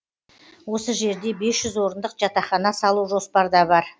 осы жерде бес жүз орындық жатақхана салу жоспарда бар